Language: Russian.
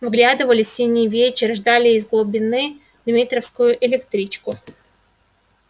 вглядывались в синий вечер ждали из его глубины дмитровскую электричку